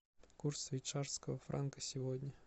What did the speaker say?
курс швейцарского франка сегодня